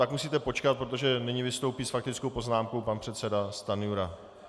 Tak musíte počkat, protože nyní vystoupí s faktickou poznámkou pan předseda Stanjura.